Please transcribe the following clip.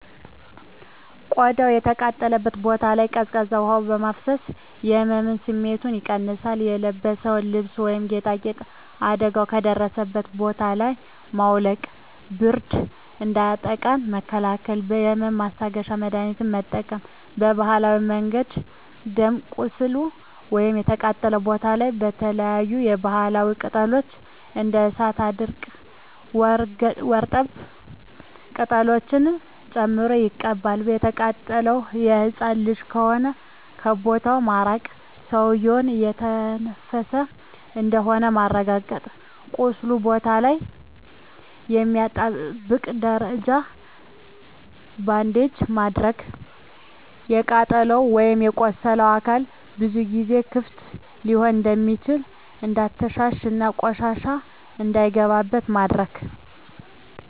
ቆዳው የተቃጠለበት ቦታ ላይ ቀዝቃዛ ውሀ በማፍሰስ የህመም ስሜቱን ይቀንሳል :የለበስነውን ልብስ ወይም ጌጣጌጥ አደጋው ከደረሰበት ቦታ ላይ ማውለቅ ብርድ እንዳያጠቃን መከላከል የህመም ማስታገሻ መድሀኒት መጠቀም በባህላዊ መንገድ ደም ቁስሉ ወይም የተቃጠለው ቦታ ላይ የተለያዪ የባህላዊ ቅጠሎች እንደ እሳት አድርቅ ወርጠብ ቅጠሎችን ጨምቆ መቀባት። የተቃጠለው ህፃን ልጅ ከሆነ ከቦታው ማራቅ ሰውዬው እየተነፈሰ እንደሆነ ማረጋገጥ ቁስሉ ቦታ ላይ የማያጣብቅ ደረቅ ባንዴጅ ማድረግ። የተቃጠለው ወይም የቆሰለው አካል ብዙ ጊዜ ክፍት ሊሆን ስለሚችል እንዳይተሻሽ እና ቆሻሻ እንዳይገባበት ማድረግ።